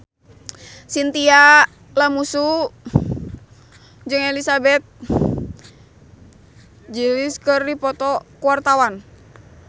Chintya Lamusu jeung Elizabeth Gillies keur dipoto ku wartawan